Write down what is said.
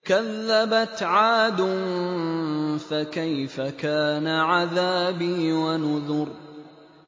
كَذَّبَتْ عَادٌ فَكَيْفَ كَانَ عَذَابِي وَنُذُرِ